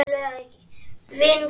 Vinkona að eilífu.